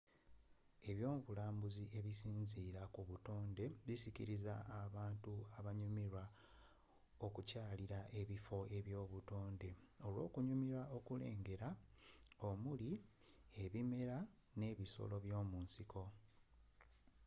ebyobulambuzi ebisinziira ku buttoned bisikiriza abantu abanyumirwa okukyalira ebiffo eby'obutonde olw'okunyumirwa okulengera omuli ebimera n'ebisoro byomunsiko